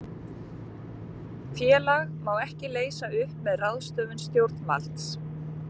félag má ekki leysa upp með ráðstöfun stjórnvalds